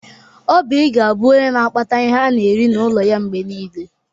Oby ga-abụ onye n'akpata ihe ana eri n'ụlọ ya mgbe niile.